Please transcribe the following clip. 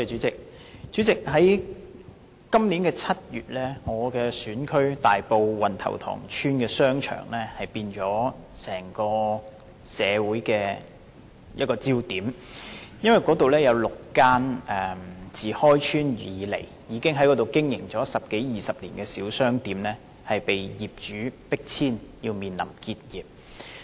主席，今年7月，我的選區大埔運頭塘邨的商場成為整個社會的焦點，因為該處有6間自開邨以來已經營，並已經營十多二十年的小商店被業主迫遷，面臨結業。